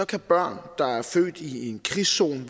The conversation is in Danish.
kan børn der er født i en krigszone